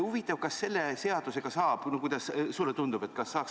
Huvitav, kas selle seadusega saaks – kuidas sulle tundub?